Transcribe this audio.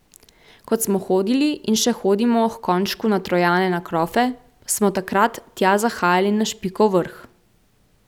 Kot smo hodili in še hodimo h Konjšku na Trojane na krofe, smo takrat tja zahajali na špikov vrh.